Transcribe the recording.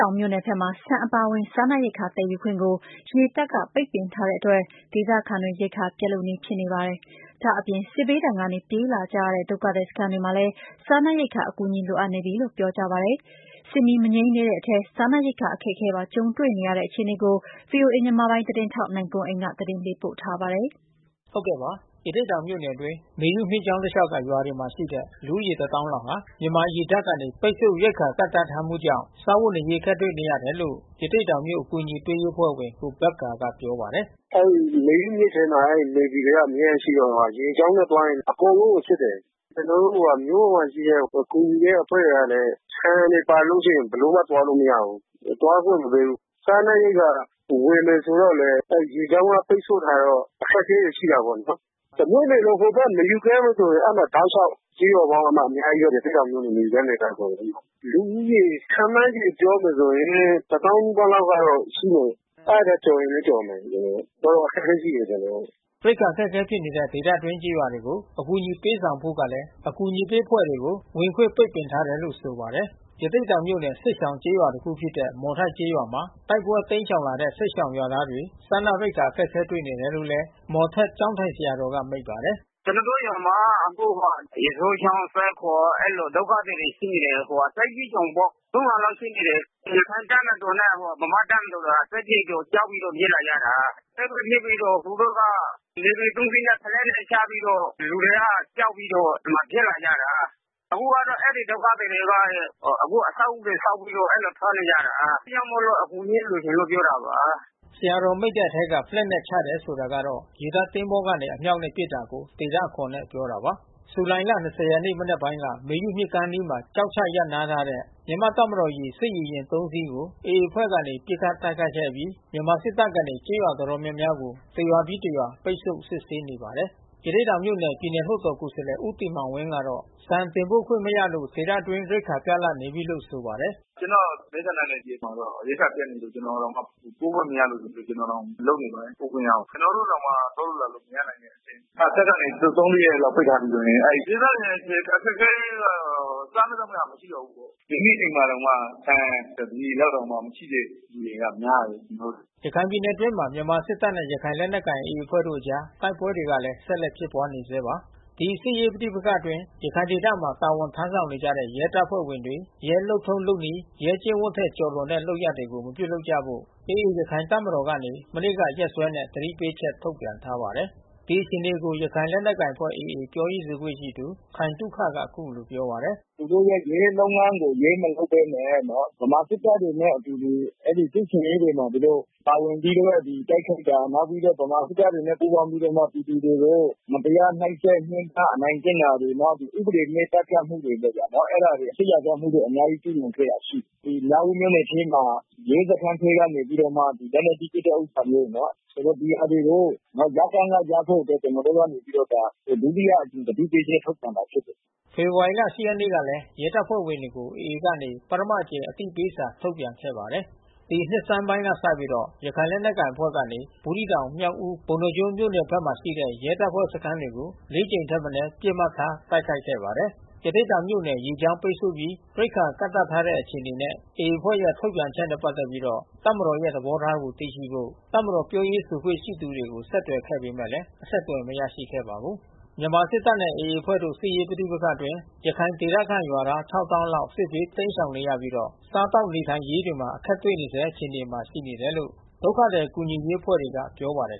ောင်မြို့နယ်ဘက်မှာ ဆန်အပါအဝင် စားနပ်ရိက္ခာသယ်ယူခွင့်ကို ရေတပ်က ပိတ်ပင်ထားတဲ့အတွက် ဒေသခံတွေ ရိက္ခာ ပြတ်လုနီးဖြစ်နေပါပြီ။ ဒါ့အပြင် စစ်ဘေးဒဏ်ကနေ ပြေးလာကြရတဲ့ ဒုက္ခသည်စခန်းတွေမှာလည်း စားနပ်ရိက္ခာအကူအညီ လိုအပ် နေပြီလို့ ပြောကြပါတယ်။ စစ်မီးမငြိမ်းသေးတဲ့အထဲ စားနပ်ရိက္ခာအခက်အခဲပါ ကြုံတွေ့နေကြရတဲ့ အခြေအနေကို ဗွီအိုအေ မြန်မာပိုင်းသတင်းထောက် နိုင်ကွန်းအိန်က သတင်းပေးပို့ထားပါတယ်။ ရသေ့တောင်မြို့နယ်အတွင်း မေယုမြစ်ကြောင်းတလျှောက်ကရွာတွေမှာရှိတဲ့ လူဦးရေ တသောင်းလောက်ဟာ မြန်မာ ရေတပ်က ပိတ်ဆို့ရိက္ခာကန့်သတ်ထားမှုကြောင့် စားဝတ်နေရေးအခက်တွေ့နေတယ်လို့ ရသေ့တောင်မြို့အကူညီ ပေးအဖွဲ့ဝင် ကိုဘက္ကာကပြောပါတယ်။ “အဲဒီမေယုမြစ်ထဲမှာ Navy တွေကအမြဲတမ်းရှိတော့လေ။ ရေကြောင်းနဲ့သွားရင် အကုန်လုံးကို စစ်တယ်။ ကျွန်တော်တို့ မြို့ပေါ်မှာ ကူညီတဲ့အဖွဲ့တွေကလဲ ဆန်တွေပါလို့ ရှိရင်ဘယ်လိုမှ သွားလို့မရဘူး။ သွားခွင့်မပေးဘူး။ စားနပ်ရိက္ခာ ဝယ် မယ်ဆိုတော့လဲ ရေကြောင်းက ပိတ်ဆို့ထားတော့ အခက်ခဲတွေရှိတာပေါ့နော်။ တမြို့နယ်လုံး ဟိုဖက်မေယုကမ်းမှာဆို တောက်လျှောက် ကျေးရွာပေါင်းကအများကြီးပဲ။ ရသေ့တောင်မြို့နယ် မေယုကမ်းဒေသ အကုန်လုံးမှာ။ လူဦးရေခန့်မှန်း ခြေ ပြောမယ်ဆိုရင် တသောင်းနီးပါးလောက်ကတော့ရှိမယ်။ အဲဒီထက်ကျော်ရင်လဲကျော်မယ်။ တော်တော်အခက်ခဲရှိ တယ် အကုန်လုံး။” ရိက္ခာအခက်ခဲဖြစ်နေတဲ့ ဒေသတွင်းကျေးရွာတွေကို အကူညီပေးဆောင်ဖို့ကလဲ အကူညီပေးအဖွဲ့တွေကို ဝင်ခွင့်ပိတ် ပင်ထားတယ်လို့ဆိုပါတယ်။ ရသေ့တောင်မြို့နယ် စစ်ရှောင်ကျေးရွာတခုဖြစ်တဲ့ မော်ထက်ကျေးရွာမှာ တိုက်ပွဲတိမ်းရှောင်လာတဲ့ စစ်ရှောင်ရွာသား တွေ စားနပ်ရိက္ခာအခက်တွေ့နေတယ်လို့ မော်ထက်ကျောင်းထိုင်ဆရာတော်က မိန့်ပါတယ်။ “ကျွန်တော်တို့ရွာမှာအခုက ရေစိုးချောင်း ၊ သဲခုံအဲဒီလို ဒုက္ခသည်တွေရှိနေတယ်။ စစ်ဘေးရှောင်ပေါ့။ (၃၀၀)လောက် ရှိနေတယ်။ ရခိုင့်တပ်မတော်နဲ့ဗမာ့တပ်မတော် စစ်ဖြစ်တော့ ကြောက်ပြီးတော့ ပြေးလာကြတာ။ တိုက်ပွဲဖြစ်ပြီးတော့ သူတို့က Navy(၃)စီးနဲ့ ဖလက်နဲ့ချပြီးတော့ လူတွေကကြောက်ပြီးတော့ ဒီမှာပြေးလာကြတာ။ အခုကတော့ အဲဒီဒုက္ခ သည်တွေက အခုအဆောက်အဦးတွေဆောက်ပြီးတော့ အဲဒီလိုစားနေကြတာ။ အဲဒါကြောင့်မို့လို့အကူညီလေး လိုချင် လို့ပြောတာပါ။” ဆရာတော်မိန့်တဲ့ထဲက ဖလက်နဲ့ချတယ်ဆိုတာကတော့ ရေတပ်သင်္ဘောကနေ အမြောက်နဲ့ပစ်တာကို ဒေသအခေါ် နဲ့ ပြောတာပါ။ ဇူလိုင်လ(၂၀)ရက်မနက်ပိုင်းက မေယုမြစ်ကမ်းအနီးမှာ ကျောက်ချရပ်နားထားတဲ့ တပ်မတော်(ရေ) စစ်ရေယာဉ် ၃ စီး ကိုAA အဖွဲ့ကနေ ပစ်ခတ်တိုက်ခိုက်ခဲ့အပြီး မြန်မာစစ်တပ် ကနေ ကျေးရွာတော်တော်များများကို တစ်ရွာပြီး တစ်ရွာ ပိတ်ဆို့ စစ်ဆေးနေပါတယ်။ ရသေ့တောင်မြို့နယ် ပြည်နယ်လွှတ်တော်ကိုယ်စားလှယ် ဦးတင်မောင်ဝင်းကတော့ ဆန်တင်ပို့ခွင့် မရလို့ ဒေသ အတွင်း ရိက္ခာပြတ်လပ်နေပြီလို့ဆိုပါတယ်။ “ကျွန်တော့် မဲဆန္ဒနယ်မြေမှာတော့ ရိက္ခာပြတ်နေပြီ ကျွန်တော်တောင်ပို့ခွင့်မရလို့ ကျွန်တော်တောင် လုပ်နေပါတယ် ပို့ခွင့်ရအောင်။ ကျွန်တော်တို့တောင်မှ သွားလို့လာလို့မရနိုင်ဘူးလေ။ တပ်ကနေသုံး လေးရက်ပိတ်ထားပြီးဆိုရင် အဲဒီဒေသခံအခက်ခဲလေးကတော့ စားမယ့် သောက်မယ့်ဟာမရှိတော့ဘူးပေါ့။ ဒီနေ့အိမ်မှာတောင်မှ ဆန်တပြည်လောက် တောင် မရှိတဲ့သူတွေကများတယ်။” ရခိုင်ပြည်နယ်အတွင်းမှာမြန်မာစစ်တပ်နဲ့ရခိုင်လက်နက်ကိုင်AAအဖွဲ့တို့အကြား တိုက်ပွဲတွေကလည်း ဆက်လက်ဖြစ် နေဆဲပါ။ ဒီစစ်ရေးပဋိပက္ခတွေအတွင်း ရခိုင်ဒေသမှာတာဝန်ထမ်းဆောင်နေကြတဲ့ ရဲတပ်ဖွဲ့ဝင်တွေ ရဲလုပ်ထုံးလုပ်နည်း၊ ရဲကျင့် ဝတ် ထက်ကျော်လွန်တဲ့လုပ်ရပ်တွေကို မပြုလုပ်ကြဖို့ AAရခိုင်တပ်တော် ကနေ မနေ့ကရက်စွဲနဲ့ သတိပေးချက် ထုတ်ပြန်ထားပါတယ်။ ဒီအခြေအနေကို ရခိုင်လက်နက်ကိုင်အဖွဲ့AAပြောရေးဆိုခွင့်ရှိသူ ခိုင်သုခက အခုလိုပြောပါတယ်။ “သူတို့ရဲ့ ရဲလုပ်ငန်းကို ရဲမလုပ်ဘဲနဲ့ ဗမာစစ်တပ်တွေနဲ့အတူတူ စစ်ဆင်ရေးမှာ သူတို့ပါဝင်ပြီးတော့ တိုက်ခိုက်တာ နောက်ပြီးတော့ ဗမာစစ်တပ်တွေနဲ့ပူးပေါင်းပြီးတော့ပြည်သူတွေကို မတရားနှိပ်စက် ညှင်းပမ်း အနိုင်ကျင့်တာတွေ နောက် ဥပဒေမဲ့သတ်ဖြတ်တာတွေ လုပ်တာ။ အဲတာတွေ စစ်ရာဇဝတ်မှုတွေ အများကြီးကျူးလွန်ခဲ့တာရှိတယ်။ ဒီမြောက်ဦးမြို့ နယ်ထဲမှာ ရဲစခန်းထဲကနေ လက်နက်ကြီး ပစ်တဲ့ဥစ္စာမျိုး ဆိုတော့ ဒီဟာတွေကို ရပ်တန်းကရပ်ဖို့ ကျွန်တော်တို့ကနေပြီး တော့ ဒုတိယအကြိမ်သတိပေးချက်ထုတ်ပြန်တာဖြစ်တယ်။” ဖေဖေါ်ဝါရီလ ၈ ရက်နေ့ ကလည်း ရဲတပ်ဖွဲ့တွေကို AA ကနေ ပထမအကြိမ်အသိပေးစာ ထုတ်ပြန်ခဲ့ပါတယ်။ ဒီနှစ်ဆန်းပိုင်းကစပြီး ရခိုင်လက်နက်ကိုင်အဖွဲ့ကနေ ဘူးသီးတောင် မြောက်ဦး ပုဏ္ဍားကျွန်းမြို့နယ်ဖက်မှာ ရှိတဲ့ ရဲတပ် ဖွဲ့စခန်းတွေကို (၄)ကြိမ်ထက်မနည်း ပစ်မှတ်ထားတိုက်ခိုက်ခဲ့ပါတယ်။ ရသေ့တောင်မြို့နယ်၊ ရေကြောင်းလမ်းပိတ်ဆို့ပြီး ရိက္ခာကန့်သတ်ထားတဲ့ အခြေအနေနဲ့ AAအဖွဲ့ရဲ့ ထုတ်ပြန်ချက်နဲ့ ပက်သက်ပြီး တပ်မတော် ရဲ့သဘောထားကိုသိရှိဖို့ တပ်မတော်ပြောရေးဆိုခွင့်ရှိသူတွေကို ဆက်သွယ်ခဲ့ပေမဲ့ အဆက်သွယ်မရရှိခဲ့ပါဘူး။ မြန်မာစစ်တပ်နဲ့AAအဖွဲ့တို့စစ်ရေးပဋိပက္ခအတွင်း ရခိုင်ဒေသခံရွာသား(၆၀၀၀၀)လောက် စစ်ဘေးတိမ်းရှောင်နေရပြီး တော့ စားသောက်နေထိုင်ရေးတွေမှာအခက်တွေ့နေဆဲအခြေအနေမှာရှိနေတယ်လို့ ဒုက္ခသည်ကူညီရေးအဖွဲ့ တွေ ကပြောပါတယ်